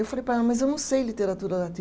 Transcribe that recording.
Eu falei para ela, mas eu não sei literatura latim